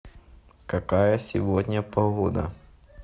какая сегодня погода